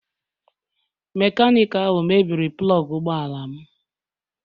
Mekaniki ahụ mebiri plọg ụgbọ ala m.